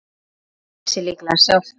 Það segir sig líklega sjálft.